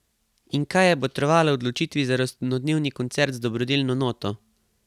In kaj je botrovalo odločitvi za rojstnodnevni koncert z dobrodelno noto?